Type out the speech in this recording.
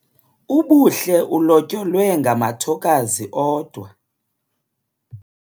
Ubuhle ulotyolwe ngamathokazi odwa.